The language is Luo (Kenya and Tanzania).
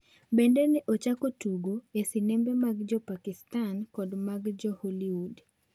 Bende ne ochako tugo e sinembe mag Jo Pakistan kod mag Jo Hollywood.